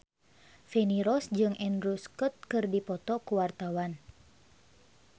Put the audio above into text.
Feni Rose jeung Andrew Scott keur dipoto ku wartawan